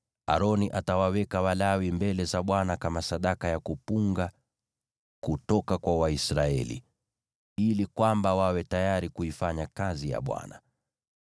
Aroni atawaweka Walawi mbele za Bwana kama sadaka ya kuinua kutoka kwa Waisraeli, ili kwamba wawe tayari kuifanya kazi ya Bwana .